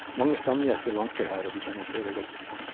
Mange stamgjester vanker her, og de kjenner stedet godt.